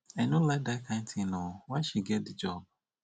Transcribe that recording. i no like dat kain thing oo why she get the job